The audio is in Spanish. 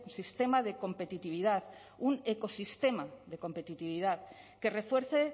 sistema de competitividad un ecosistema de competitividad que refuerce